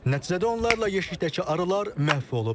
Nəticədə onlarla yeşikdəki arılar məhv olub.